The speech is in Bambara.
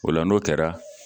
O la n'o kɛra